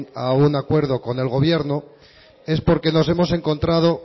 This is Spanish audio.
a un acuerdo con el gobierno es porque nos hemos encontrado